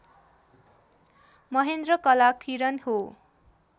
महेन्द्र कला किरण हो